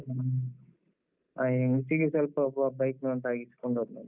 ಹ್ಮ್ ಆ ಹೆಂಗ್ಸಿಗೆ ಸ್ವಲ್ಪ ಒಬ್ಬ bike ನವ ತಾಗಿಸ್ಕೊಂಡು ಹೋದ್ನಂತೆ.